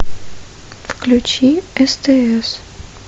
включи стс